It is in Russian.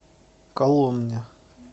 коломне